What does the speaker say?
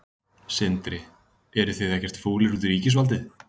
Sindri: Eruð þið ekkert fúlir út í ríkisvaldið?